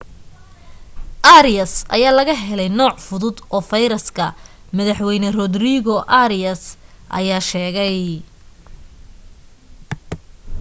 arias ayaa laga helay nooc fudud oo virus-ka madax weyne rodrigo arias ayaa sheegay